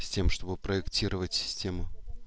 с тем чтобы проектировать систему